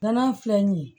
Nɔnɔ filɛ nin ye